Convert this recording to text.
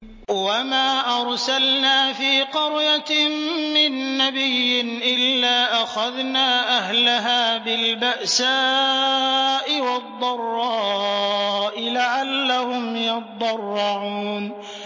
وَمَا أَرْسَلْنَا فِي قَرْيَةٍ مِّن نَّبِيٍّ إِلَّا أَخَذْنَا أَهْلَهَا بِالْبَأْسَاءِ وَالضَّرَّاءِ لَعَلَّهُمْ يَضَّرَّعُونَ